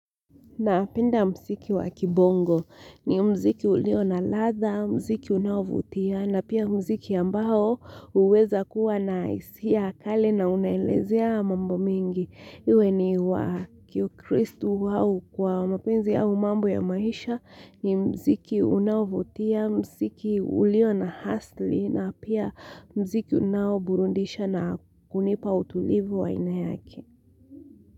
Napenda muziki wa kibongo ni muziki ulio na ladha, muziki unaovutia na pia muziki ambao huweza kuwa na hisia ya kale na unaelezea mambo mengi. Iwe ni wa kiukristu au wa mapenzi au mambo ya maisha ni muziki unaovutia, muziki ulio na asili na pia muziki unaoburudisha na kunipa utulivu wa aina yake.